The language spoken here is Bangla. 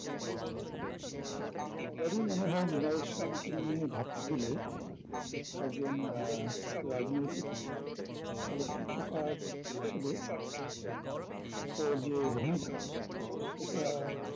সবারই মনে হয় মৃনাল সেনকে নিয়ে ভাবতে গেলে একজন আহ রাজনৈতিক চলচিত্রকার হিসাবে ওর যে ভূমিকা সেটা